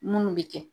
Munnu bɛ kɛ